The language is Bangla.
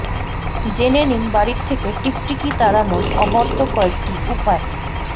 জেনে নিন বাড়ি থেকে টিকটিকি তাড়ানোর অব্যর্থ কয়েকটি উপায়